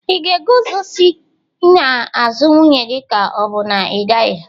Ị ga-eguzosike n'azụ nwunye gị ka ọ bụ na ị gaghị?